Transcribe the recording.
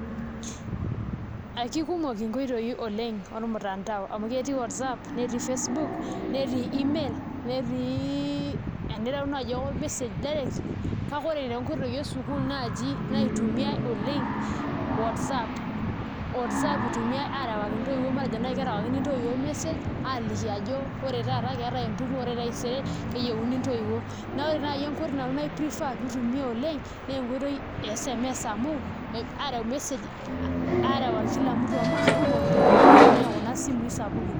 Kekumok nkoitoi ormutandao amu ketii Whatsapp, netii Facebook, netii email, netii eni enireu naai ake ormesej direct kake ore toonkoitoi esukuul naaji naitumia oleng' Whatsapp, Whatsapp itumiai aarewaki ntoiwuo ormesej aaliki ajo ore taata naa keetae entumo ore taisere keyieuni ntoiwuo neeku ore naai enkoitoi naiprefer nanu naa aareu message amu kekumok ntoiwuo nemitumia kuna simuui sapukin.